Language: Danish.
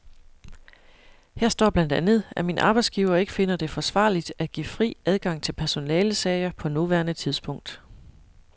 Her står blandt andet, at min arbejdsgiver ikke finder det forsvarligt at give fri adgang til personalesager på nuværende tidspunkt.